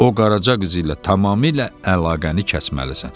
O qaraca qızı ilə tamamilə əlaqəni kəsməlisən.